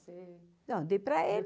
Você... Não, dei para ele.